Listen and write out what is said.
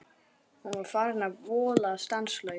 Hún var farin að vola stanslaust.